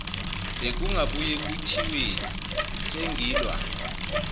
bekungabuye kuthiweni sengilwa